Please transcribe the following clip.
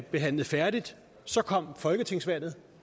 behandlet færdigt så kom folketingsvalget